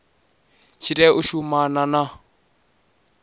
tshi tea u shumana na